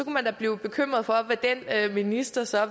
man da blive bekymret for hvad den minister så